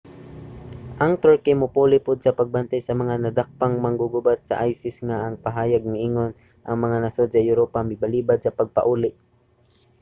ang turkey mopuli pud sa pagbantay sa mga nadakpang manggugubat sa isis nga ang pahayag miingon ang mga nasod sa europa mibalibad sa pagpauli